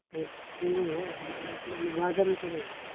showroom होयं! मला वाटलं मी वाजार विचारत होतो